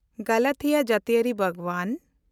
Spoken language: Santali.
ᱜᱟᱞᱟᱛᱷᱤᱭᱟ ᱡᱟᱹᱛᱤᱭᱟᱹᱨᱤ ᱵᱟᱜᱽᱣᱟᱱ